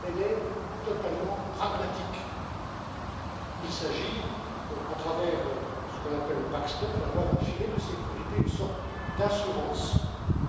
Elle est totalement pragmatique il s'agit, à travers ce qu'on appelle le backstop d'avoir un filet de sécurité, une sorte d'assurance